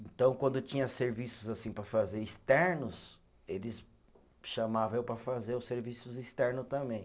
Então, quando tinha serviços assim para fazer externos, eles chamavam eu para fazer os serviços externo também.